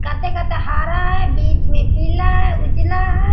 काते-काते हरा है बीच में पीला है उजला हैं।